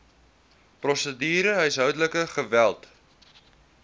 prosedure huishoudelike geweld